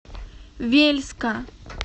вельска